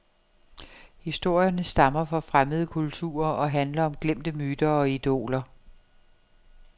Historierne stammer fra fremmede kulturer og handler om glemte myter og idoler.